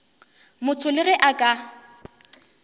motho le ge a ka